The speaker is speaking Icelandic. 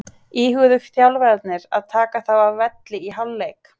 Íhuguðu þjálfararnir að taka þá af velli í hálfleik?